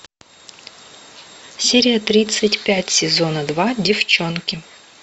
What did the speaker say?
серия тридцать пять сезона два деффчонки